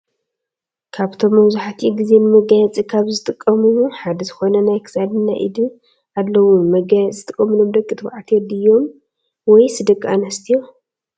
ካብቶም መብዛሒትኡ ግዜ ንመጋየፂ ካብ ዝጠቅሙ ሓደ ዝኮነ ናይ ክሳድን ናይ ኢድን ኣለው። ንመጋየፂ ዝጥቀመሎም ደቂ ተባዕትዮ ድዮም ወይስ ደቂ ኣንስትዮ?